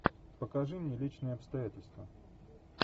покажи мне личные обстоятельства